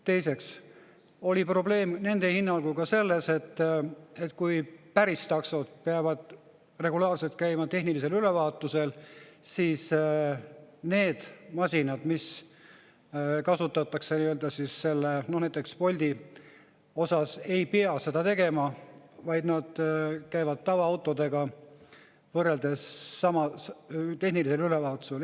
Teiseks oli probleem nende hinnangul ka selles, et kui päris taksod peavad regulaarselt käima tehnilisel ülevaatusel, siis need masinad, mida kasutab näiteks Bolt, ei pea seda tegema, vaid nad käivad tavaautodega tehnilisel ülevaatusel.